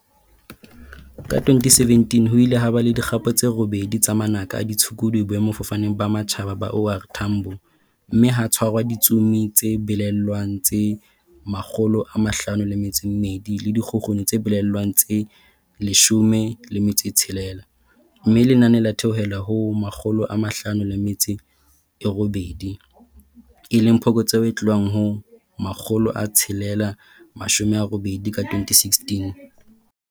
Ka 2017 ho ile ha ba le di kgapo tse robedi tsa manaka a ditshukudu Boemafofaneng ba Matjhaba ba OR Tambo, mme ha tshwarwa ditsomi tse belaellwang tse makgolo a mahlano le metso e mmedi le dikgukguni tse belaellwang tse leshome le metso tshelela mme lenane la theohela ho makgolo a mahlano le metso e robedi, e leng phokotseho e tlohang ho makgolo tshelela mashome a robedi ka 2016.